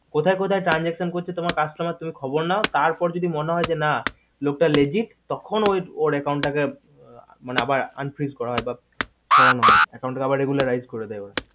কোথায় কোথায় transaction করছি তোমার customer তুমি খবর নাও তার পর যদি মনে হয় না লোক টা logic তখন ওর account টাকে আবার unfrige করা হয় বা সরান হয় account টাকে আবার regularised করে দেওয়া হয়